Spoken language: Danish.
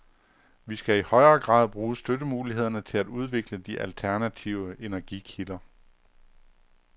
Vi skal i højere grad bruge støttemulighederne til at udvikle de alternative energikilder.